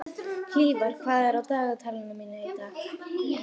Hlífar, hvað er á dagatalinu mínu í dag?